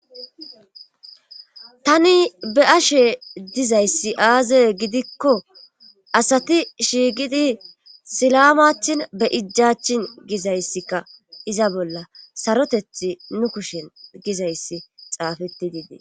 tani be'ashe dizayssi aaze gidikko asati shiigidi silamachin be ijachin gizayssika iza bolla sarotethi nu kushen gizayssi xaafetidiidee